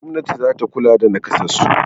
Gwamnati za ta kula da naƙasassu.